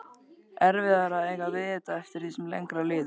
Erfiðara að eiga við þetta eftir því sem lengra líður.